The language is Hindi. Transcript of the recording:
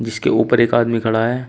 इसके ऊपर एक आदमी खड़ा है।